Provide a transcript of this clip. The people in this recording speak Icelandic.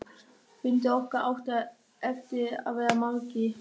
Fundir okkar áttu eftir að verða margir.